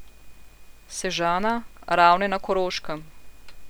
Sežana, Ravne na Koroškem.